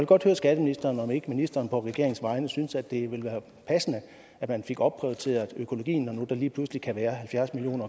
godt høre skatteministeren om ikke ministeren på regeringens vegne synes at det ville være passende at man fik opprioriteret økologien når nu der lige pludselig kan være halvfjerds million